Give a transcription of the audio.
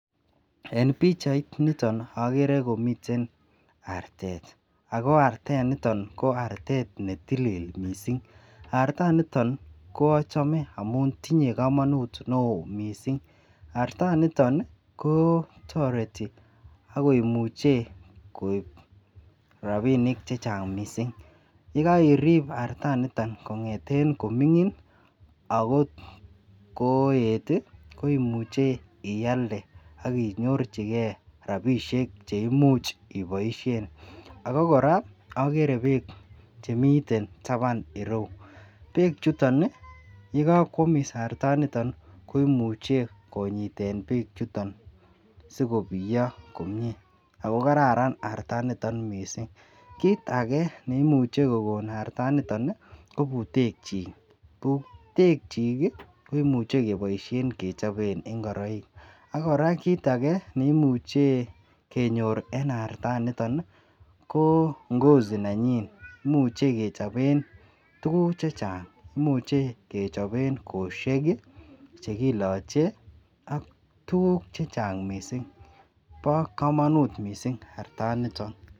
En bichait niton agere komiten artet ako artet niton ko artet netilil mising arta niton koaxhame amun tinye kamanut neon mising arta niton ko tareti akoimiche koib rabinik chechang mising yikairib artaniton kongeten komingin akotgoet koimuchi iyalde akinyorchigei rabinik cheimuche ibaishen akokoraa agere bek Chemiten taban irou ako bek chuton yekakwamis artaniton koimuche konyiten bek chuton sikobiyo komie akokararan artaniton mising kit age neimuche kokon artaniton kobbutek chikb hutek chik koimuche kebaishen kechoben ingoroik akoraa kit age nekemuche kenyor en artet ko Ngozi nanyin imuche kechopen tuguk chechang imuche kechoben koshek cheilache AK tuguk chechang mising bakamanut mising artaniton